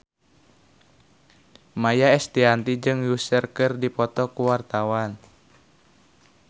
Maia Estianty jeung Usher keur dipoto ku wartawan